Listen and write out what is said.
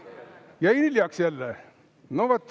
Jäin hiljaks jälle?